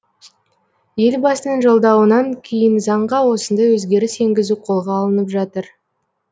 елбасының жолдауынан кейін заңға осындай өзгеріс енгізу қолға алынып жатыр